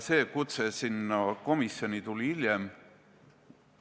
Kutse sinna komisjoni tuli hiljem.